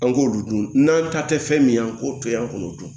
An k'olu dun n'an ta tɛ fɛn min ye an k'o to yen an k'olu dun